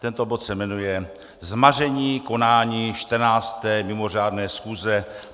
Tento bod se jmenuje Zmaření konání 14. mimořádné schůze